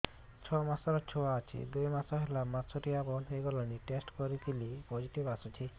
ଛଅ ମାସର ଛୁଆ ଅଛି ଦୁଇ ମାସ ହେଲା ମାସୁଆରି ବନ୍ଦ ହେଇଗଲାଣି ଟେଷ୍ଟ କରିଥିଲି ପୋଜିଟିଭ ଆସିଛି